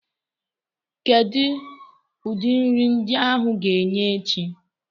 Kedu ụdị nri ndi áhù ga-enye echi?